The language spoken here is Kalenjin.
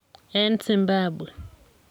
eng Zimbabwe.